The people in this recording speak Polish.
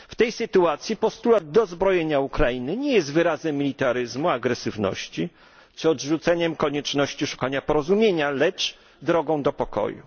W tej sytuacji postulat dozbrojenia Ukrainy nie jest wyrazem militaryzmu, agresywności czy odrzuceniem konieczności szukania porozumienia, lecz drogą do pokoju.